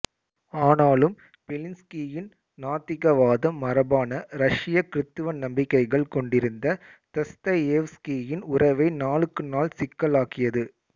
ஆனாலும் பெலின்ஸ்கியின் நாத்திகவாதம் மரபான ரஷ்ய கிறித்தவ நம்பிக்கைகள் கொண்டிருந்த தஸ்தயேவ்ஸ்கியின் உறவை நாளுக்கு நாள் சிக்கலாக்கியது